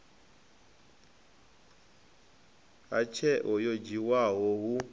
ha tsheo yo dzhiwaho hu